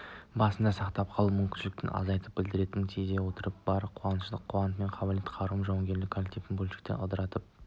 басын сақтап қалу мүмкіндіктерін азайтатынын білдіретінін сезе отырып бар күш-қуатыңмен қабілет-қарымыңмен жауынгер коллективтің бөлшектеніп ыдырап